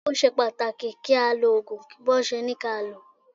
Ó ṣe pàtàkì kí á lo Ògùn bí wón ṣe ká lòó.